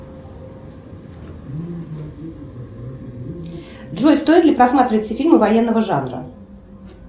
джой стоит ли просматривать все фильмы военного жанра